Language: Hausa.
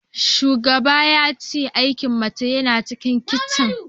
Shugaban ya ce aikin mace yana cikin kicin